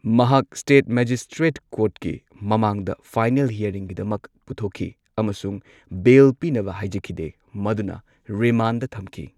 ꯃꯍꯥꯛ state magistrate ꯀꯣꯔꯠꯀꯤ ꯃꯃꯥꯡꯗ ꯐꯥꯢꯅꯦꯜ, ꯍꯤꯌꯔꯤꯡꯒꯤꯗꯃꯛ ꯄꯨꯊꯣꯛꯈꯤ ꯑꯃꯁꯨꯡ ꯕꯦꯜ ꯄꯤꯅꯕ ꯍꯥꯢꯖꯈꯤꯗꯦ ꯃꯗꯨꯅ ꯔꯤꯃꯥꯟꯗ ꯊꯝꯈꯤ꯫